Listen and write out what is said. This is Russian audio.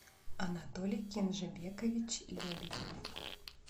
анатолий кенжебекович лебедев